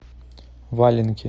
валенки